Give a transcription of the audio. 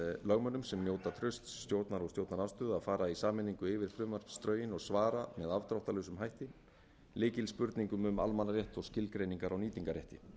lögmönnum sem njóta trausts stjórnar og stjórnarandstöðu að fara í sameiningu yfir frumvarpsdrögin og svara með afdráttarlausum hætti lykilspurningum um almannaheill og skilgreiningar á nýtingarrétti